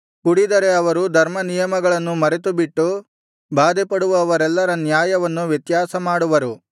ಕುಡಿದರೆ ಅವರು ಧರ್ಮನಿಯಮಗಳನ್ನು ಮರೆತುಬಿಟ್ಟು ಬಾಧೆಪಡುವವರೆಲ್ಲರ ನ್ಯಾಯವನ್ನು ವ್ಯತ್ಯಾಸಮಾಡುವರು